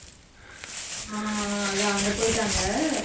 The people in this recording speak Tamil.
ஆஹ் அதான் அங்க போயிட்டாங்க.